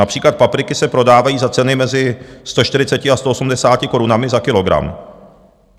Například papriky se prodávají za ceny mezi 140 a 180 korunami za kilogram.